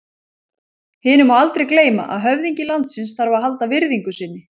Hinu má aldrei gleyma að höfðingi landsins þarf að halda virðingu sinni.